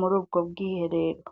muri ubwo bwiherero.